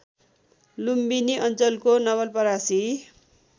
लुम्बिनी अञ्चलको नवलपरासी